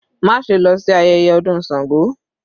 Má ṣe lọ sí ayẹyẹ ọdún Sango.